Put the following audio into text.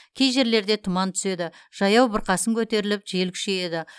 кей жерлерде тұман түседі жаяу бұрқасын көтеріліп жел күшейеді